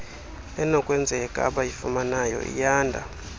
enokwenzeka abayifunayo iyanda